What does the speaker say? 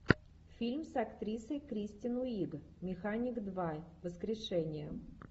фильм с актрисой кристен уиг механик два воскрешение